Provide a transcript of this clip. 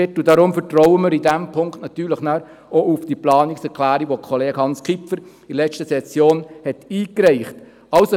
Deshalb vertrauen wir in diesem Punkt auch auf die Planungserklärung, die Kollege Hans Kipfer in der letzten Session eingereicht hat.